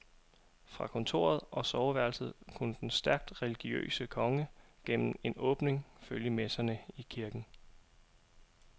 Fra kontoret og soveværelset kunne den stærkt religiøse konge gennem en åbning følge messerne i kirken.